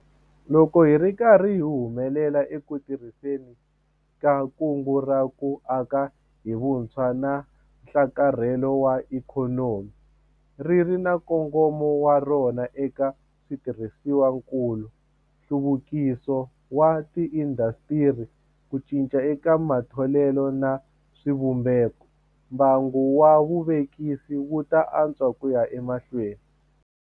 Loko hi ri karhi hi humelela eku tirhiseni ka Kungu ra ku Aka hi Vutshwa na Nhlakarhelo wa Ikhonomi - ri ri na nkongomo wa rona eka switirhisiwakulu, nhluvukiso wa tiindasitiri, ku cinca eka matholelo na swivumbeko - mbangu wa vuvekisi wu ta antswa ku ya emahlweni.